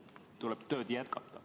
Tuleb tööd jätkata.